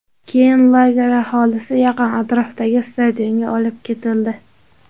Keyin lager aholisi yaqin atrofdagi stadionga olib ketildi.